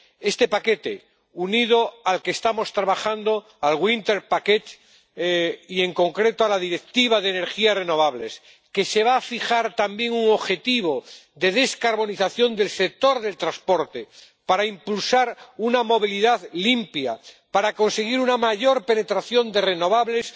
Este paquete se une al otro con el que estamos trabajando, el paquete de invierno, y, en concreto, a la Directiva sobre energías renovables, que se va a fijar también un objetivo de descarbonización del sector del transporte para impulsar una movilidad limpia y conseguir una mayor penetración de renovables.